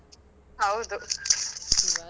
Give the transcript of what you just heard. ಹೌದು